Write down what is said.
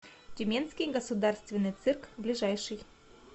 тюменский государственный цирк ближайший